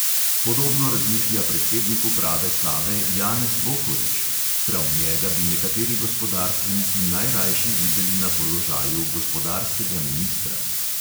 Podobno razmišlja predsednik uprave save janez bohorič (prav njega bi nekateri gospodarstveniki najrajši videli na položaju gospodarskega ministra).